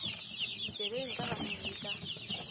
ditsebeng ka ganong le ka